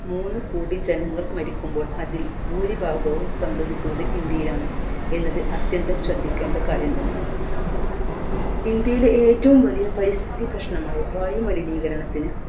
മൂന്നുകോടി ജനങ്ങൾ മരിക്കുമ്പോൾ അതിൽ ഭൂരിഭാഗവും സംഭവിക്കുന്നത് ഇന്ത്യയിലാണ് എന്നത് അത്യന്ത്യം ശ്രെദ്ധിക്കേണ്ട കാര്യം തന്നെ ഇന്ത്യയിലെ ഏറ്റവും വലിയ പരിസ്ഥിതി പ്രശ്നമായ വായുമലിനീകരണത്തിന്